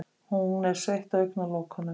Hún er sveitt á augnalokunum.